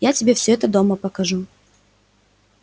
я тебе всё это дома покажу